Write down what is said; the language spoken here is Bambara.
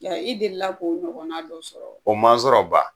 I deli la k'o ɲɔgɔnna dɔ sɔrɔ wa? O ma n sɔrɔ ban.